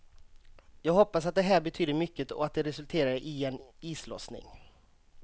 Jag hoppas att det här betyder mycket och att det resulterar i en islossning.